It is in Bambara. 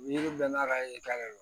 Yiri bɛɛ n'a ka ye k'a de don